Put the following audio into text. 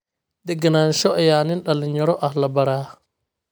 Degenaansho ayaa nin dhalinyaro ah la baraa